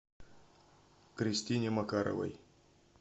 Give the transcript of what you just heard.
кристине макаровой